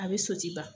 A bɛ soti ban